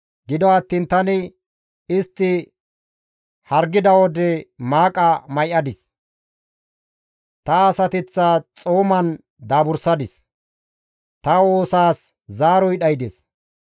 Gido attiin tani istti hargida wode maaqa may7adis; ta asateththa xooman daabursadis; ta woosaas zaaroy dhaydes.